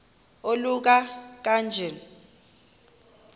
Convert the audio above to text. oluka ka njl